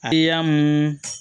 A mun